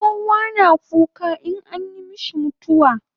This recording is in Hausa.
Kowa na kuka inyi mishi mutawa